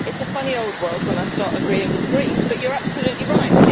It's a funny old world when I start agreeing with the Greens, but you are absolutely right.